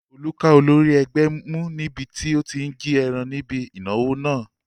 Olú ká olórí ẹgbẹ́ mú níbi tí ó tí n jí ẹran níbi ìnáwó náà